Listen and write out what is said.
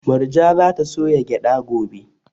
Murja za ta soya gyada gobe